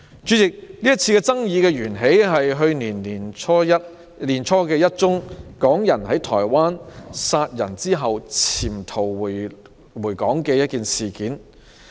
主席，這次爭議源於去年年初發生的港人在台灣殺人後潛逃回港的事件。